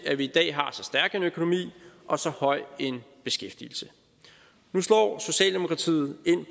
at vi i dag har så stærk en økonomi og så høj en beskæftigelse nu slår socialdemokratiet ind